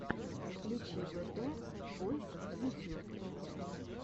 включи бэтэ войс ютюб